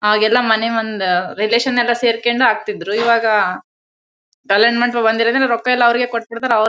ಆಗೆಲ್ಲ ಮನೆ ಒಂದ್ ರಿಲೇಶನ್ ಎಲ್ಲ ಸೇರ್ಕೊಂಡು ಹಾಕ್ತಿದ್ರು ಇವಾಗ ಕಲ್ಯಾಣ್ ಮಂಟಪಗೆ ಬಂದ್ಇರ್ತ್ತರೆ ರೊಕ್ಕ ಎಲ್ಲ ಅವ್ರಿಗೆ ಕೊಟ್ಟಬಿಡತ್ತಾರೆ ಅವರೇ--